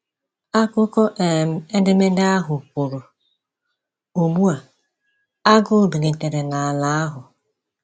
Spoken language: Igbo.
Akụkọ um edemede ahụ kwuru: “Ugbu a, agụụ bilitere n’ala ahụ.”